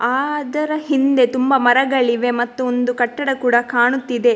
ಆ ದರ ಹಿಂದೆ ತುಂಬ ಮರಗಳಿವೆ ಮತ್ತು ಒಂದು ಕಟ್ಟಡ ಕೂಡ ಕಾಣುತ್ತಿದೆ.